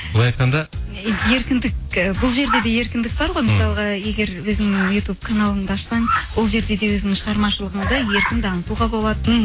былай айтқанда еркіндік і бұл жерде де еркіндік бар ғой егер өзіңнің ютуб каналыңды ашсаң ол жерде де өзіңнің шығармашлығыңды еркін дамытуға болады мхм